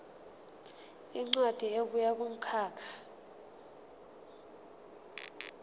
incwadi ebuya kumkhakha